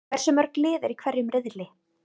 Hversu mörg lið eru í hverjum riðli?